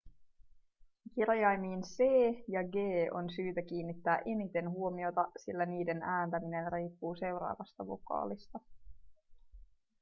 kirjaimiin c ja g on syytä kiinnittää eniten huomiota sillä niiden ääntäminen riippuu seuraavasta vokaalista